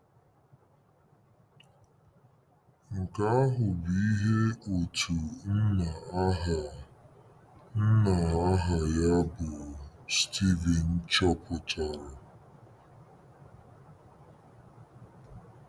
Nke ahụ bụ ihe otu nna aha nna aha ya bụ Steven chọpụtara.